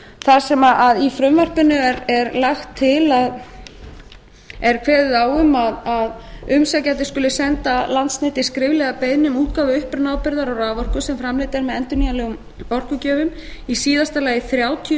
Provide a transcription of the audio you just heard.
þar sem í frumvarpinu er kveðið á um að umsækjandi skuli senda landsneti skriflega beiðni um útgáfu upprunaábyrgðar á raforku sem framleidd er með endurnýjanlegum orkugjöfum í síðasta lagi þrjátíu